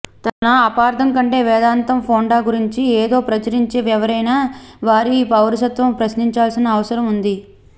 తన అపార్ధం కంటే వేదాంతం ఫొండా గురించి ఏదో ప్రచురించే ఎవరైనా వారి పౌరసత్వం ప్రశ్నించాల్సిన అవసరం ఉంది